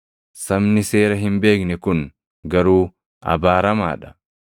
Sabni seera hin beekne kun garuu abaaramaa dha.”